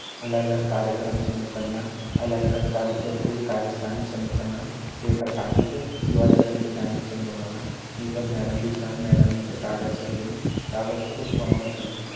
अलग-अलग कार्यक्रम छन यु कन्ना अलग-अलग कार्यु करीके कारिस्थानी छन यु कन्ना पेपर काटी क यू अलग-अलग डिजानयूँ छन बणौना ये फर मैडम बी छा मैडम यूँथे कागज छ देणी कागज क कुछ बणौन छा लग्यां।